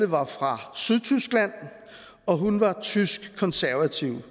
var fra sydtyskland og hun var tysk konservativ